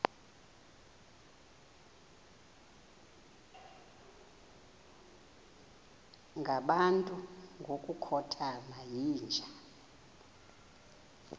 ngabantu ngokukhothana yinja